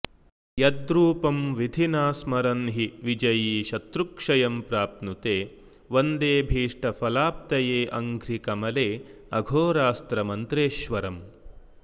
यद्रूपं विधिना स्मरन् हि विजयी शत्रुक्षयं प्राप्नुते वन्देऽभीष्टफलाप्तयेऽङ्घ्रिकमलेऽघोरास्त्रमन्त्रेश्वरम्